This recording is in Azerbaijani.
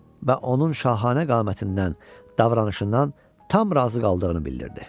Və onun şahanə qamətindən, davranışından tam razı qaldığını bildirdi.